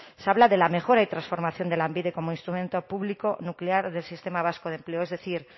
se habla de la mejora y transformación de lanbide como instrumento público nuclear del sistema vasco de empleo es decir